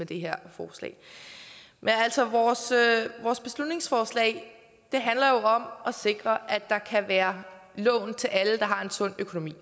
det her forslag men altså vores beslutningsforslag handler jo om at sikre at der kan være lån til alle der har en sund økonomi